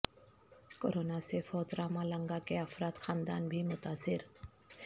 corona سے فوت Ramalinga کے افراد خاندان بھی متاثر